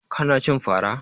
Ka na cin fara?